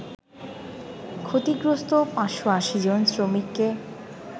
ক্ষতিগ্রস্ত ৫৮০ জন শ্রমিককে